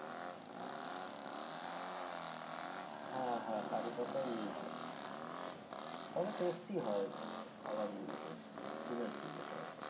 হ্যাঁ হ্যাঁ curry পাতা use হয় তবে tasty হয় খাওয়ার গুলো বেশ শুনেছি যেটা আরকি।